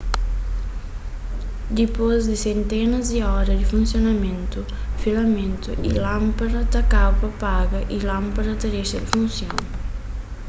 dipôs di sentenas di óra di funsionamentu filamentu di lánpada ta kaba pa paga y lánpada ta dexa di funsiona